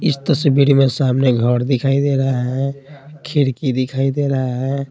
इस तस्वीर में सामने घर दिखाई दे रहा है खिड़की दिखाई दे रहा है।